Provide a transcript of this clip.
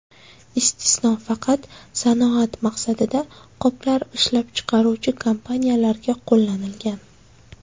Istisno faqat sanoat maqsadida qoplar ishlab chiqaruvchi kompaniyalarga qo‘llanilgan.